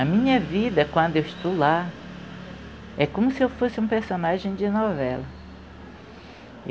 A minha vida, quando eu estou lá, é como se eu fosse um personagem de novela.